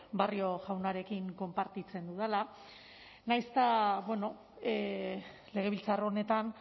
barrio jaunarekin konpartitzen dudala nahiz eta legebiltzar honetan